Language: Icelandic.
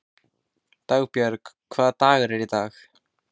Dagbjörg, hvaða dagur er í dag?